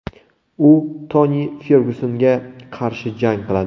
U Toni Fergyusonga qarshi jang qiladi.